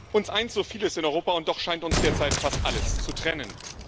Uns eint so vieles in Europa, und doch scheint uns derzeit fast alles zu trennen.